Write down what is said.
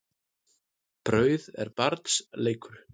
Brauð er barns leikur.